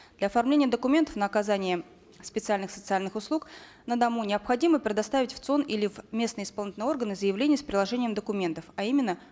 для оформления документов на оказание специальных социальных услуг на дому необходимо предоставить в цон или в местные исполнительные органы заявление с приложением документов а именно